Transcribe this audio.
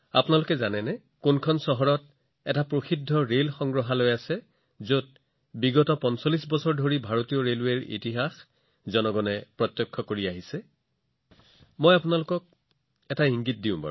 আপোনালোক জানেনে দেশৰ কোনখন চহৰত এটা বিখ্যাত ৰেল সংগ্ৰহালয় আছে যত যোৱা ৪৫ বছৰ ধৰি মানুহে ভাৰতীয় ৰেলৰ ঐতিহ্য চাবলৈ সুযোগ পাইছে মই আপোনালোকক আন এটা ইংগিত দিম